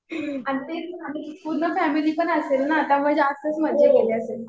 आणि तेच ना पूर्ण फॅमिली पण असेल ना. त्यामुळे जास्तच मजा केली असेल.